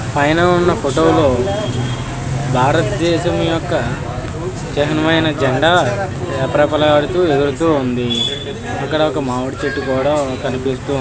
పైన ఉన్న ఫోటోలో భారతదేశం యొక్క చిహ్నమయన జెండా రెపరేపలాడుతూ ఊగుతూ ఉంది. ఇక్కడొక్క మామిడి చెట్టు కూడ కనిపిస్తూ ఉంది.